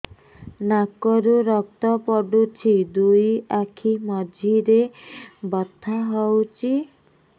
ନାକରୁ ରକ୍ତ ପଡୁଛି ଦୁଇ ଆଖି ମଝିରେ ବଥା ହଉଚି